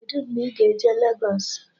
Kedụ mgbe ị ga-eje Legos?